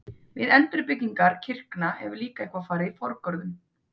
Við endurbyggingar kirkna hefur líka eitthvað farið forgörðum.